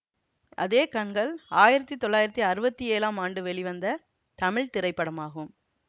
அதே கண்கள் ஆயிரத்தி தொள்ளாயிரத்தி அறுவத்தி ஏழாம் ஆண்டு வெளிவந்த தமிழ் திரைப்படமாகும்